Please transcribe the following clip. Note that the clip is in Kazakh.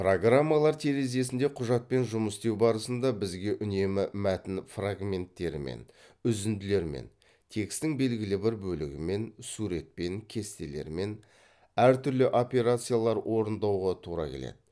программалар терезесінде құжатпен жұмыс істеу барысында бізге үнемі мәтін фрагменттерімен үзінділермен текстің белгілі бір бөлігімен суретпен кестелермен әртүрлі операциялар орындауға тура келеді